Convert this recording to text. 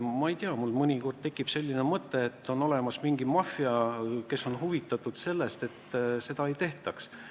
Ma ei tea, mul mõnikord tekib selline mõte, et on olemas mingi maffia, kes on huvitatud sellest, et seda ei tehtaks.